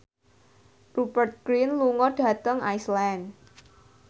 Rupert Grin lunga dhateng Iceland